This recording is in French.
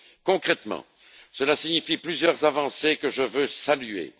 Concrètement, cela signifie plusieurs avancées que je veux saluer.